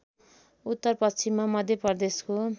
उत्तर पश्चिममा मध्यप्रदेशको